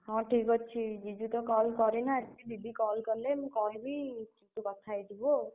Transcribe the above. ହଁ ଠିକ୍ ଅଛି, जीजु ତ call କରିନାହାନ୍ତି। जीजु call କଲେ ମୁଁ କହିବି, ତୁ କଥା ହେଇଯିବୁ ଆଉ।